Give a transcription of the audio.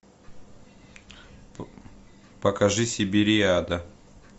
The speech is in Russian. покажи сибириада